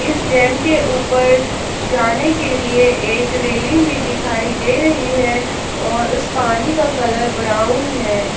इस डैम के ऊपर जाने के लिए एक रेलिंग भी दिखाई दे रही है और उस पानी का कलर ब्राउन है।